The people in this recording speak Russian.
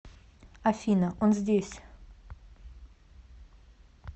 афина он здесь